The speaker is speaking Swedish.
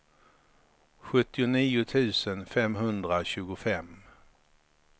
sjuttionio tusen femhundratjugofem